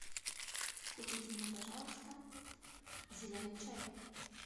купите мне пожалуйста зеленый чай